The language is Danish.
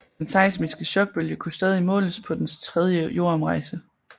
Den seismiske chokbølge kunne stadig måles på dens tredje jordomrejse